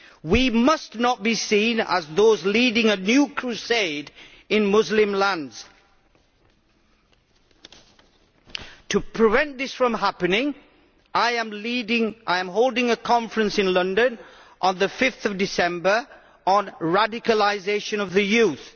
We must not be seen as those leading a new crusade in Muslim lands. To prevent this from happening I am holding a conference in London on 5 December on the radicalisation of the youth.